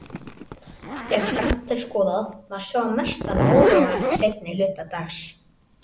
Ef grannt er skoðað, má sjá mestan óróa seinni hluta dags.